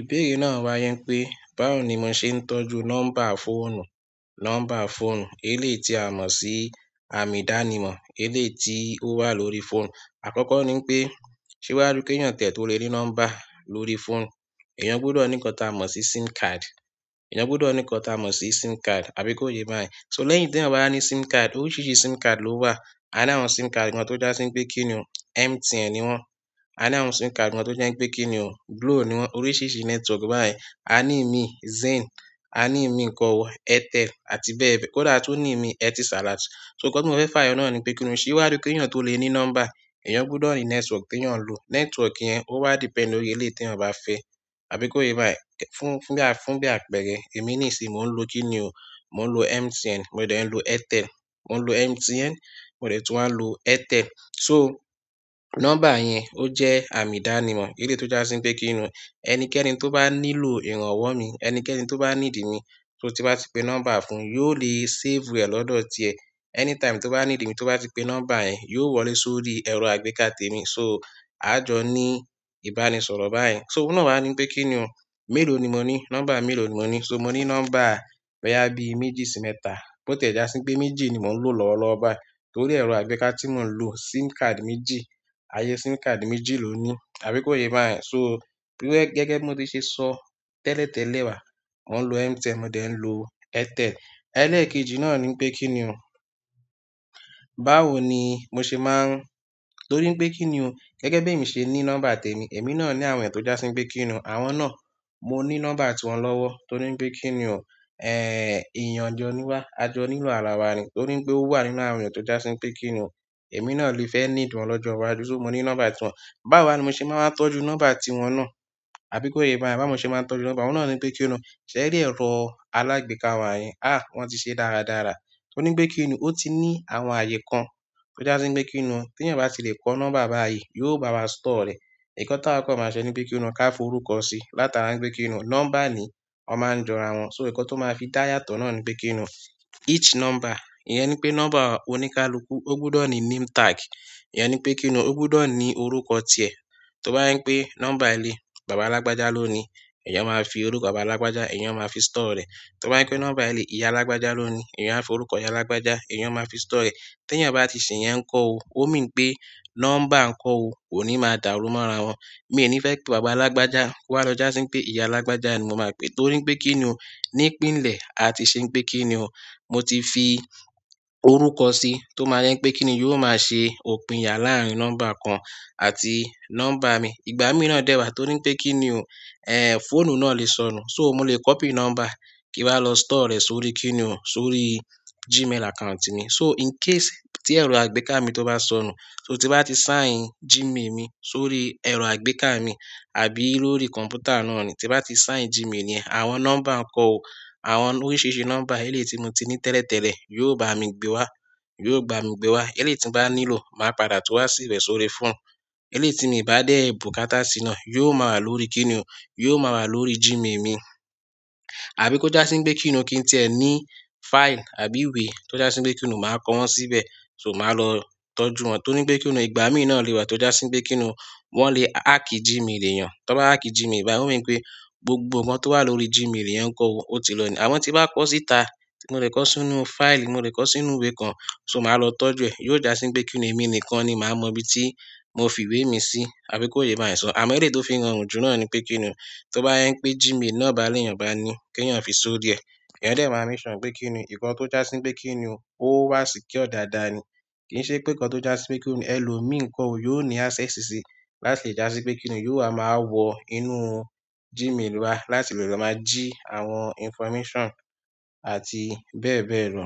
Ìbéèrè náà wá yẹn pé, báwo ni mo ṣe ń tọ́jú nọ́mbà fóònù, nọ́mbà fóònù elé ti a mọ̀ sí àmì-dánimọ̀ elé ti ó wà lórí fóònù. Àkọ́kọ́ ni pé ṣé wá rí pé kíyàn ti tó lè ní nọ́mbà lórí fóònù, eyan gbọdọ̀ ní nkan ti a mọ̀ sí SIM card, eyan gbọdọ̀ ní nkan ti a mọ̀ sí SIM card, àbí kò yé bá yẹn? So lẹ́yìn tí ẹ̀yan ba ní SIM card, oríṣìíríṣìí SIM card ló wà. A ní àwọn SIM card kan tó já síi pé kíni o, MTN ni wọ́n. A ní àwọn SIM card kan tó je pé kíni o, Glo ni wọ́n. Oríṣìíríṣìí network báyìí. A ní mi Zain, a ní mi nǹkan wò Airtel àti bẹ́ẹ̀ bẹ́ẹ̀. Kódà a tun ní mi Etisalat. So nkan ti mo fe fayo na ni pe kini o, se wari ki eyan to le ni nọ́mbà eyan gbodo ni network ti eyan n lo, network yen wa o wa depend lórí ele ti eyan ba fe, àbí ko ye bayen? Fún fún bi—fun bi àpẹẹrẹ, emi nisinyi mo n lo kini o, mo n lo Mtn mo de n lo Airtel. Mo ń lo MTN, mo dẹ̀ tún wà n lo Airtel. So nọ́mbà yẹn ó jẹ́ àmì-dánimọ̀ elé tó jásín pé kíni, ẹnikẹ́ni tó bá nílò ìrànwọ́ mi, ẹnikẹ́ni tó bá needi mi, so tí n bá ti pe nọ́mbà fún, yóò lè save rẹ̀ lọ́dọ̀ tiẹ. Anytime tó bá needi mi, tó bá ti pe nọ́mbà yẹn, yóò wọlé sórí ẹrọ àgbéká tèmi. So a jọ ní ìbánisọ̀rọ̀ báyen. So òun náà wá ní pé kíni o, mélòó ni mo ní, nọ́mbà mélòó ni mo ní. So mo ní nọ́mbà boya bí méjì sí mẹ́ta, bó ti ẹ́ já síi pé méjì ni mò ń lò lọ́wọ́lọ́wọ́ báyìí, torí ẹrọ àgbéká tí mò ń lò SIM card méjì, ayé SIM card méjì ló ní. Àbí kò yé bá yẹn? So gẹ́gẹ́ bí mo ti ṣe sọ tẹ́lẹ̀tẹ́lẹ̀ wá, mò ń lo MTN, mo dẹ̀ ń lo Airtel. Ẹlẹ́kejì náà ní pé kíni o, báwo ni mo ṣe máa ń-- torí pé kíni o, gẹ́gẹ́ bí èmi ṣe ní nọ́mbà tèmi, èmi náà ní àwọn ẹyàn tó já sii pé kíni o, àwọn náà mo ní nọ́mbà tí wọ́n lọ́wọ́. Torí pé kíni o, ẹ́yan jọ níwà, a jọ nílò arawa ni. Torí pé ó wà nínú àwọn èèyàn tó já síi pé kíni o, èmi náà lè fẹ́ needi wọn lọ́jọ́ iwájú. So mo ní nọ́mbà tí wọ́n. Báwo wa ni mo se maa n wa tọ́jú nọ́mbà ti won na? Àbí ko ye bayen, báwo ni mo se maa n tọ́jú nọ́mbà, oun na nipe kini o, se ri ero alagbekawa yìí ahh won ti se dáradára torí pé kíni o, ó ti ní àwọn ààyè kan tó já síi pé kíni o, tí ẹ̀yan ba tí lè kọ́ nọ́mbà báyìí, yóò bá wa store rẹ̀. Nkan ti awa ko máa ṣẹ ní pé kíni o, ká forúkọ si látara pé kíni o, nọ́mbà ni o máa ń jọra wọn. So nkan tí ó máa fi dá yàtọ̀ náà ni pé kíni o, each nọ́mbà, ìyẹn ni pé nọ́mbà oníkálukú, ó gbọdọ̀ ní name tag. Ìyẹn ni pé kíni o, ó gbọdọ̀ ní orúkọ tiẹ. Tó bá je pé nọ́mbà ẹlẹ́, bàbá lágbájá ló ni, ẹ̀yan máa fi orúkọ bàbá lágbájá, ẹ̀yan máa fi store rẹ̀. Tó bá je pé nọ́mbà ẹlẹ́, ìyá lágbájá ló ni, ẹ̀yan á fi orúkọ ìyá lágbájá, ẹ̀yan máa fi store rẹ̀. Tí ẹ̀yan ba tí ṣe ìyẹn kọ́ o, ó mean pé nọ́mbà kọ́ o kò ní máa dàrú mọ́ra wọn. Mi ò ní fẹ́ pé bàbá lágbájá ko wá lọ́ jà sii pé ìyá lágbájá ni mo máa pè é. Torí pé kíni o, ní ìpínlẹ̀, a ti ṣe pé kíni o, mo ti fi orúkọ si tó máa je pé kíni o, yóò máa ṣe òpìn ya láàárín nọ́mbà kan àti nọ́mbà mi. Ìgbámí náà dẹ́wàá torí pé kíni o, ẹ́ fóònù náà lè sọnù. So mo lè copy nọ́mbà kí wa lọ store rẹ̀ sórí kíni o, sórí Gmail account mi. So in case tí ẹrọ àgbéká mi tó bá sọnù, so tí bá ti sign Gmail mi sórí ẹrọ àgbéká mi àbí lórí kọ̀m̀pútà náà ni, tí bá ti sign Gmail yẹn, àwọn nọ́mbà kọ́ o, àwọn oríṣìíríṣìí nọ́mbà elé tí mo ti ní tẹ́lẹ̀tẹ́lẹ̀ yóò bá mi gbé wá, yóò gba mi gbé wá. Elé tí n bá nílò, màá padà tó wá sí rẹ̀ sórí fóònù. Elé tí mi bá dé bùkátà sína, yóò máa wà lórí kíni o, yóò máa wà lórí Gmail mi. Àbí kó já sii pé kíni o, kí ntí ẹ ní file àbí ìwé tó já sii pé kíni o, màá kó wọn síbẹ̀, so màá lọ tọ́jú wọn. Torí pé kíni o, ìgbámí náà lè wà tó jásín pé kíni o, wọ́n lè hack Gmail èyàn. Tó bá hack Gmail, ó mean pé gbogbo nkan tó wà lórí Gmail yẹn kọ́ o, ó ti lọ ní. Àmo tí n bá kọ́ síta, mo lè kọ́ sínú file, mo lè kọ́ sínú ìwé kan, so màá lọ tọ́jú ẹ̀. Yóò jásín pé kíni o, èmi nìkan ni màá mọ ibi tí mo fi ìwé mi sí, àbí kò yé bá yẹn sọ̀? Àmọ́ èlé tó fi ránrun ju náà ni pé kíni o, tó bá je pé Gmail náà bá léyàn bá a ni, kí ẹ̀yan fi sórí ẹ. Ẹ̀yan dẹ̀ máke sure pé kíni o, nkan tó já síi pé kíni o, ó wà secure dàda ni. Kì í ṣe pé nkan tó jásín pé kíni o, ẹ lò mí ko o yóò ní access síi láti lè já sii pé kíni o, yóò wá máa wọ inú Gmail wa láti lè lọ máa jí àwọn information àti bẹ́ẹ̀ bẹ́ẹ̀ lọ.